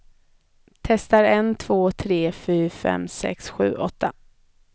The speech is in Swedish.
Testar en två tre fyra fem sex sju åtta.